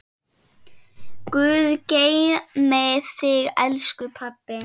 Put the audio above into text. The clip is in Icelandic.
Guð geymi þig, elsku pabbi.